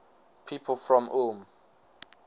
people from ulm